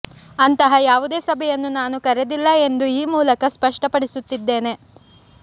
ಅಂತಹ ಯಾವುದೇ ಸಭೆಯನ್ನು ನಾನು ಕರೆದಿಲ್ಲ ಎಂದು ಈ ಮೂಲಕ ಸ್ಪಷ್ಟಪಡಿಸುತ್ತಿದ್ದೇನೆ